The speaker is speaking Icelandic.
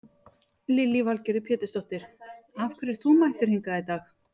Lillý Valgerður Pétursdóttir: Af hverju ert þú mættur hingað í dag?